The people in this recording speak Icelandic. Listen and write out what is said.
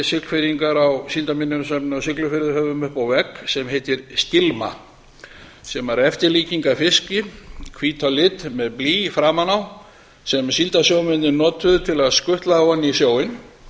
siglfirðingar á síldarminjasafni á siglufirði höfum uppi á vegg sem heitir skilma sem var eftirlíking af fiski hvít á lit með blý framan á sem síldarsjómennirnir notuðu til að skutla á hann í sjóinn